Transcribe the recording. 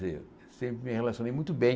Eu eu sempre me relacionei muito bem.